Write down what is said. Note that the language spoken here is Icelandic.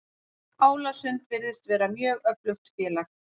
Álasund virðist vera mjög öflugt félag.